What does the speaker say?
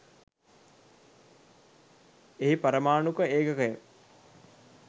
එහි පරමාණුක ඒකකය